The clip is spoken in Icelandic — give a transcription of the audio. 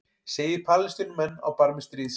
Segir Palestínumenn á barmi stríðs